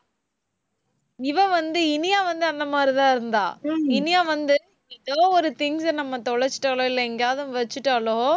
இவ வந்து, இனியா வந்து அந்த மாதிரிதான் இருந்தா. இனியா வந்து ஏதோ ஒரு things அ நம்ம தொலைச்சுட்டாலோ இல்லை எங்கேயாவது வச்சுட்டாலோ